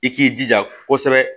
I k'i jija kosɛbɛ